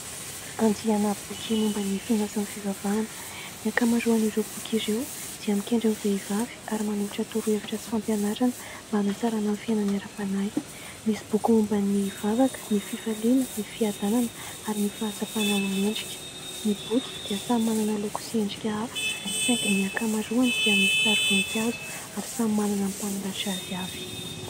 Andiana boky momba ny finoana sy ny fivavahana : ny ankamaroan'ireo boky ireo dia mikendry ny vehivavy ary manolotra torohevitra sy fampianarana mba hanatsarana ny fiainany ara-panahy ; misy boky momba ny vavaka, ny fifaliana, ny fiadanana ary ny fahatsapana ho mendrika. Ny boky dia samy manana ny loko sy endrika hafa saingy ny ankamaroany dia misy sary voninkazo ary samy manana ny mpanoratra azy avy.